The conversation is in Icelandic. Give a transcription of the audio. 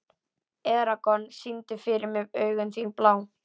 Eragon, syngdu fyrir mig „Augun þín blá“.